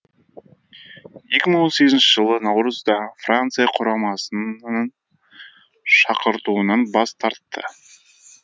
екі мың он сегізінші жылы наурызда франция құрамасынның шақыртуынан бас тартты